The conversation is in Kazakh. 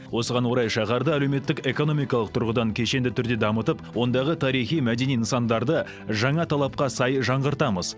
осыған орай шаһарды әлеуметтік экономикалық тұрғыдан кешенді түрде дамытып ондағы тарихи мәдени нысандарды жаңа талапқа сай жаңғыртамыз